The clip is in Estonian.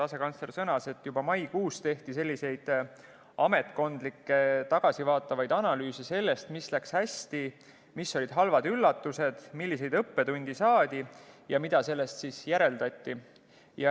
Asekantsler sõnas, et juba maikuus tehti selliseid ametkondlikke tagasivaatavaid analüüse sellest, mis läks hästi, mis olid halvad üllatused, milliseid õppetunde saadi ja mida sellest järeldati.